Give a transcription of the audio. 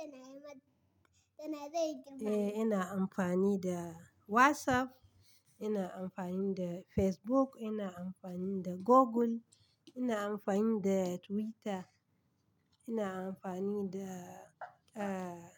Eh, ina amfani da WhatsApp, ina amfani da Facebook, ina amfani da Google, ina amfani da Twitter, ina amfani da, ah,